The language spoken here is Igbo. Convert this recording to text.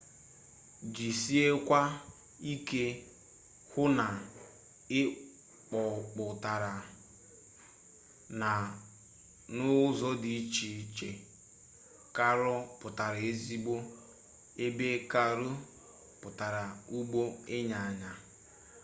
jisiekwa ike hụ na ị kpọpụtara r na rr n'ụzọ dị iche caro pụtara ezigbo ebe carro pụtara ụgbọ ịnyịnya